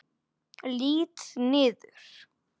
Lít niður.